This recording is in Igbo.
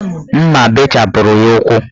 Mma bechapụrụ ya ukwu